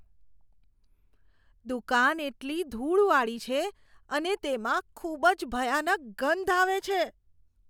દુકાન એટલી ધૂળવાળી છે અને તેમાં ખૂબ જ ભયાનક ગંધ આવે છે.